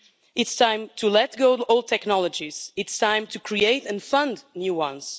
It's time to let go of old technologies. It's time to create and fund new ones.